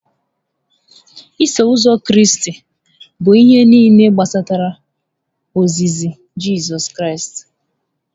Iso Ụzọ Kraịst bụ ihe nile gbasara ozizi Jizọs Kraịst